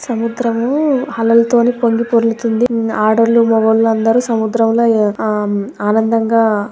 సముద్రము అలలతో పొంగిపొర్లుతోంది. ఆడోల్లు మగోళ్ళు అందరు సముద్రంలో ఆ ఆనందగా